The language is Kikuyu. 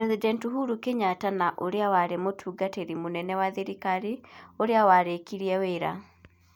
President Uhuru Kenyatta na ũrĩa warĩ mũtungatĩri mũnene wa thirikari. Ũrĩa warĩkirie wĩra.